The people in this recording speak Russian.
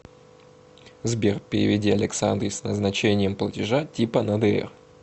сбер переведи александре с назначением платежа типа на др